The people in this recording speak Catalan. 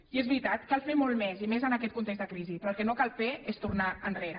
i és veritat cal fer molt més i més en aquest context de crisi però el que no cal fer és tornar enrere